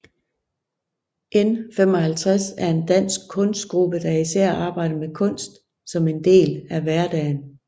N55 er en dansk kunstgruppe der især arbejder med kunst som en del af hverdagen